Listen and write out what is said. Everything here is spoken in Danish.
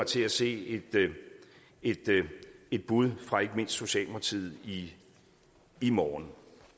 til at se et bud fra ikke mindst socialdemokratiet i i morgen